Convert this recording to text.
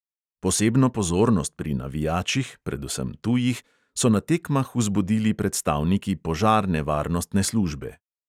Posebno pozornost pri navijačih, predvsem tujih, so na tekmah vzbudili predstavniki požarne varnostne službe.